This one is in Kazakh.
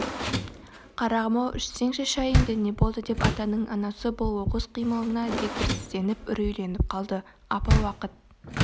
қарағым-ау ішсеңші шайыңды не болды деп атаның анасы бұл оқыс қимылына дегбірсізденіп үрейленіп қалды апа уақыт